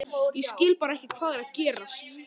Ég skil bara ekki hvað er að gerast.